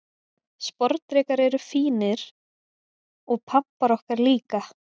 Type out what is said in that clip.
Sporðdrekar eru fínir, og pabbar okkar líka.